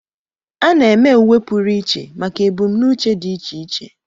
A na-eme uwe pụrụ iche maka ebumnuche dị iche iche.